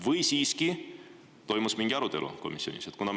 Või siiski toimus komisjonis mingi arutelu?